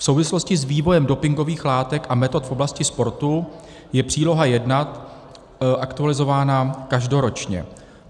V souvislosti s vývojem dopingových látek a metod v oblasti sportu je Příloha I aktualizována každoročně.